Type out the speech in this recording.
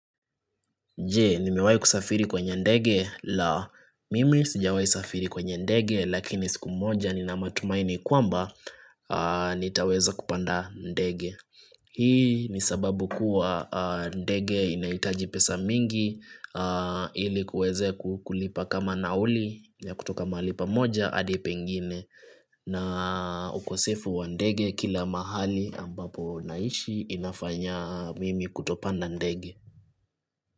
Je, nimewai kusafiri kwenye ndege la mimi sijawai safiri kwenye ndege lakini siku moja ni na matumaini kwamba nitaweza kupanda ndege. Hii ni sababu kuwa ndege inahitaji pesa mingi ili kuweze kulipa kama nauli ya kutoka mahali pamoja adi pengine na ukosefu wa ndege kila mahali ambapo naishi inafanya mimi kutopanda ndege.